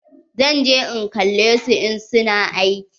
Zan je in kalle su in su na aiki.